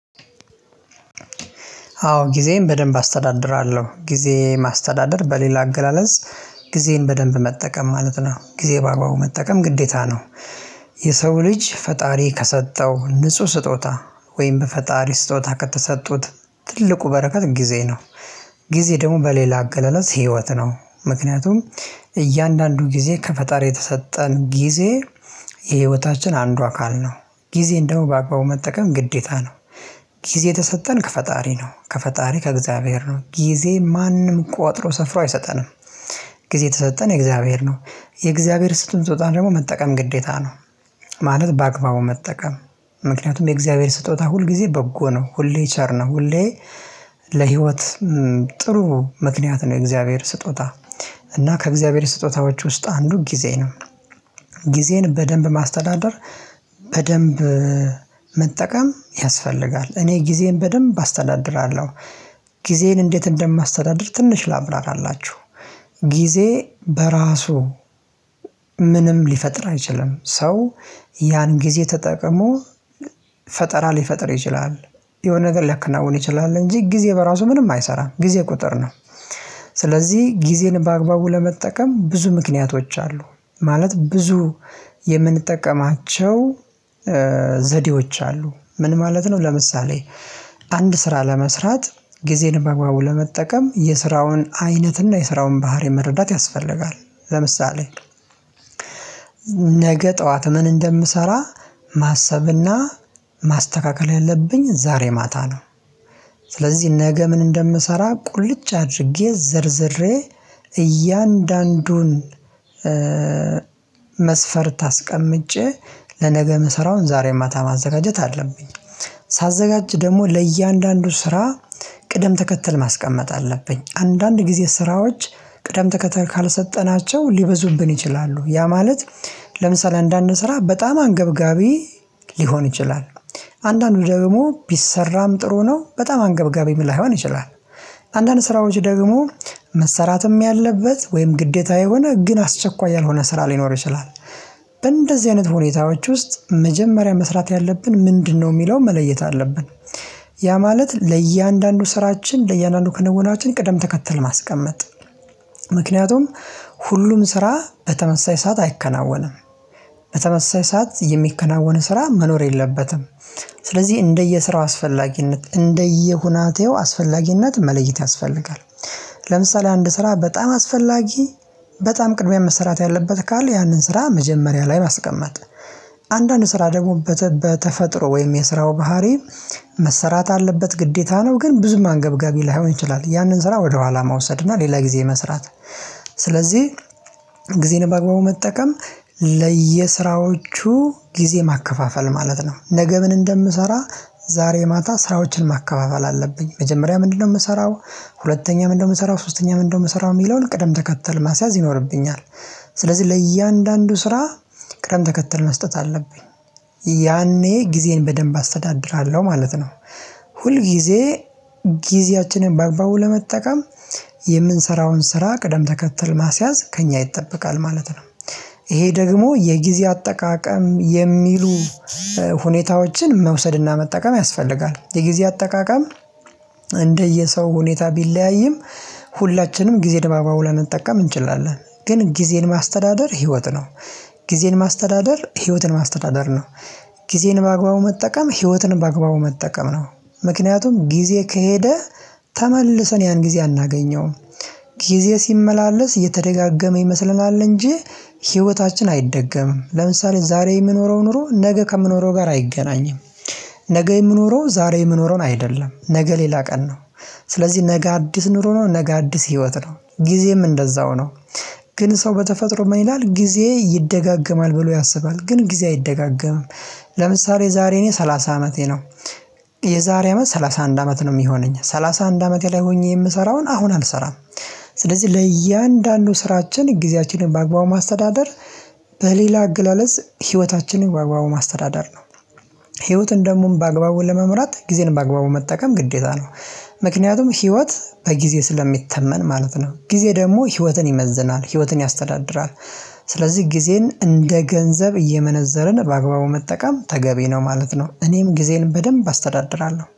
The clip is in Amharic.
አዎ ጊዜዬን በደንብ አስተዳድራለሁ ጊዜ ማስተዳደር በሌላ አገላለጽ ጊዜን በደንብ መጠቀም ማለት ነው ጊዜ በአግባቡ መጠቀም ግዴታ ነው። የሰው ልጅ ፈጣሪ ከሰጠው ንጹህ ስጦታ ወይም በፈጣሪ ስጦታ ከተሰጡት ትልቁ በረከት ጊዜ ነው። ጊዜ ደግሞ በሌላ አገላለጽ ህይወት ነው ምክንያቱም እያንዳንዱ ጊዜ ከፈጣሪ የተሰጠን ጊዜ የህይወታችን አንዱ አካል ነው ጊዜ እንደው በአግባቡ መጠቀም ግዴታ ነው። ጊዜ የተሰጠን ከፈጣሪ ነው ከፈጣሪ ከእግዚአብሔር ነው ጊዜ ማንም ቆጥሮ ሰፍሮ አይሰጠንም። ጊዜ የተሰጠን የእግዚአብሔር ነው የእግዚአብሔር የሰጠንን ስጦታ ደግሞ መጠቀም ግዴታ ነው። ማለት በአግባቡ መጠቀም። ምክንያቱም የእግዚአብሔር ስጦታ ሁል ጊዜ በጎ ነው ሁሌ ቸር ነው ሁሌ። ለህይወት ጥሩ ምክንያት ነው የእግዚአብሔር ስጦታ። እና ከእግዚአብሔር ስጦታዎች ውስጥ አንዱ ጊዜ ነው። ጊዜን በደንብ ማስተዳደር በደንብ መጠቀም ያስፈልጋል። እኔ ጊዜን በደንብ አስተዳድራለሁ። ጊዜን እንዴት እንደማስተዳድር ትንሽ ላብራራላችሁ። ጊዜ በራሱ ምንም ሊፈጥር አይችልም ሰው። ያን ጊዜ ተጠቅሞ ፈጠራ ሊፈጥር ይችላል። የሆነ ነገር ሊያከናውን ይችላል እንጂ ጊዜ በራሱ ምንም አይሰራም ጊዜ ቁጥር ነው። ስለዚህ ጊዜን በአግባቡ ለመጠቀም ብዙ ምክንያቶች አሉ። ማለት ብዙ የምንጠቀማቸው ዘዴዎች አሉ ምን ማለት ነው? ለምሳሌ አንድ ስራ ለመስራት ጊዜን በግባቡ ለመጠቀም የስራውን አይነት እና የስራውን ባህሪ መረዳት ያስፈልጋል። ለምሳሌ ነገ ጠዋት ምን እንደምሰራ ማሰብና ማስተካከል ያለብኝ ዛሬ ማታ ነው። ስለዚህ ነገ ምን እንደምሰራ ቁልጭ አድርጌ ዘርዝሬ እያንዳንዱን መስፈርት አስቀምጬ ለነገ ምሰራውን ዛሬ ማታ ማዘጋጀት አለብኝ። ሳዘጋጅ ደግሞ ለእያንዳንዱ ስራ ቅደም ተከተል ማስቀመጥ አለብኝ። አንዳንድ ጊዜ ስራዎች ቅደም ተከተል ካልሰጠናቸው ሊበዙብን ይችላሉ። ያ ማለት ለምሳሌ እንዳንሰራ በጣም አንገብጋቢ ሊሆን ይችላል። አንዳንዱ ደግሞ ቢሰራም ጥሩ ነው በጣም አንገብጋቢም ላይሆን ይችላል። አንዳንድ ስራዎች ደግሞ መሰራትም ያለበት ወይም ግዴታ የሆነ ግን አስቸኳይ ያልሆነ ስራ ሊኖር ይችላል። በእንደዚህ አይነት ሁኔታዎች ውስጥ መጀመሪያ መስራት ያለብን ምንድነው? የሚለውን መለየት አለብን። ያ ማለት ለእያንዳንዱ ስራችን ለእያንዳንዱ ክንውናችን ቅደም ተከተል ማስቀመጥ ምክንያቱም ሁሉም ስራ በተመሳሳይ ሰዓት አይከናወንም። በተመሳሳይ ሰዓት የሚከናወነን ስራ መኖር የለበትም። ስለዚህ እንደየስራው አስፈላጊነት እንደየሁናቴው አስፈላጊነት መለየት ያስፈልጋል። ለምሳሌ አንድ ስራ በጣም አስፈላጊ በጣም ቅድሚያ መሰራት ያለበት ካሉ ያንን ስራ መጀመሪያ ላይ ማስቀመጥ። አንዳንድ ስራ ደግሞ በተፈጥሮ ወይም የስራው ባህሪ መሰራት አለበት ግዴታ ነው ግን ብዙ አንገብጋቢ ላይሆን ይችላል ያንን ስራ ወደኋላ መውሰድ እና ሌላ ጊዜ መስራት። ስለዚህ ጊዜን በአግባቡ መጠቀም ለየስራዎቹ ጊዜ ማከፋፈል ማለት ነው። ነገ ምን እንደምሰራ ዛሬ ማታ ስራዎችን ማከፋፈል አለብኝ። መጀመሪያ ምንድነው የምሰራው ሁለተኛ ምንድነው የምሰራው ሶስተኛ ምንድነው የምሰራው የሚለውን ቅደም ተከተል ማስያዝ ይኖርብኛል። ስለዚህ ለእያንዳንዱ ስራ ቅደም ተከትል መስጠት አለብኝ። ያኔ ጊዜን በደንብ አስተዳድራለሁ ማለት ነው። ሁል ጊዜ ጊዜያችንን በአግባቡ ለመጠቀም የምንሰራውን ስራ ቅደም ተከተል ማስያዝ ከእኛ ይጠበቃል ማለት ነው። ይሄ ደግሞ የጊዜ አጠቃቀም የሚሉ ሁኔታዎችን መውሰድና መጠቀም ያስፈልጋል። የጊዜ አጠቃቀም እንደየሰው ሁኔታ ቢለያይም ሁላችንም ጊዜ በአግባቡ ላንጠቀም እንችላለን ግን ጊዜን ማስተዳደር ህይወት ነው። ጊዜን ማስተዳደር ህይወትን ማስተዳደር ነው። ጊዜን በአግባቡ መጠቀም ህይወትን በአግባቡ መጠቀም ነው። ምክንያቱም ጊዜ ከሄደ ተመልሰን ያን ጊዜ አናገኘውም። ጊዜ ሲመላለስ እየተደጋገመ ይመስለናል እንጂ ህይወታችን አይደገምም። ለምሳሌ ዛሬ የምኖረው ኖሮ ነገ ከምኖረው ጋር አይገናኝም። ነገ የምኖረው ዛሬ የምኖረውን አይደለም ነገ ሌላ ቀን ነው። ስለዚህ ነገ አዲስ ኑሮ ነው ነገ አዲስ ህይወት ነው ጊዜም እንደዛው ነው። ግን ሰው በተፈጥሮ ምን ይላል ጊዜ ይደጋገማል ብሎ ያስባል ግን ጊዜ አይደጋገምም። ለምሳሌ ዛሬ እኔ ሰላሳ አመቴ ነው። የዛሬ አመት ሰላሳ አንድ አመት ነው የሚሆነኝ ሰላሳ አንድ አመቴ ላይ ሆኜ የምሰራውን አሁን አልሰራም። ስለዚህ ለእያንዳንዱ ስራችን ጊዜያችንን በአግባቡ ማስተዳደር በሌላ አገላለጽ ህይወታችንን በአግባቡ ማስተዳደር ነው። ህይወትን ደግሞ በአግባቡ ለመምራት ጊዜን በአግባቡ መጠቀም ግዴታ ነው። ምክንያቱም ህይወት በጊዜ ስለሚተመን ማለት ነው ጊዜ ደግሞ ህይወትን ይመዝናል ህይወትን ያስተዳድራል። ስለዚህ ጊዜን እንደ ገንዘብ እየመነዘርን በአግባቡ መጠቀም ተገቢ ነው ማለት ነው። እኔም ጊዜን በደንብ አስተዳድራለሁ